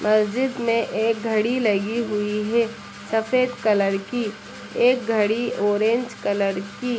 मस्जिद में एक घड़ी लगी हुई है सफेद कलर की। एक घड़ी ऑरेंज कलर की।